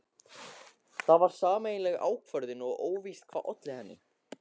Það var sameiginleg ákvörðun og óvíst hvað olli henni.